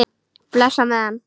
Bless á meðan.